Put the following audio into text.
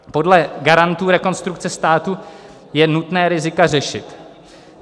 Podle garantů Rekonstrukce státu je nutné rizika řešit.